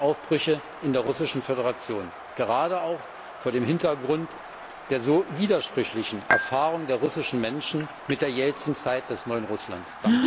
Aufbrüche in der russischen Föderation, gerade auch vor dem Hintergrund der so widersprüchlichen Erfahrungen der russischen Menschen mit der Jelzin Zeit des neuen Russlands.